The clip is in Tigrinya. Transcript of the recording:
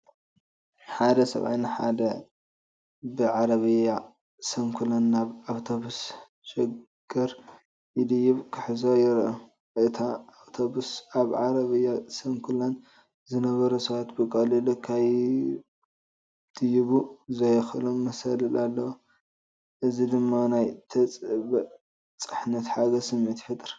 ሓደ ሰብኣይ ንሓደ ብዓረብያ ስንኩላን ናብ ኣውቶቡስ ሸገር ክድይብ ክሕግዞ ይርአ። እታ ኣውቶቡስ ኣብ ዓረብያ ስንኩላን ዝነበሩ ሰባት ብቐሊሉ ክድይቡ ዘኽእሎም መሳልል ኣለዋ። እዚ ድማ ናይ ተበጻሕነትን ሓገዝን ስምዒት ይፈጥር።